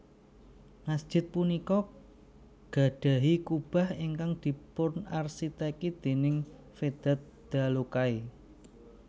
Masjid punika gadhahi kubah ingkang dipunarsiteki déning Vedat Dalokay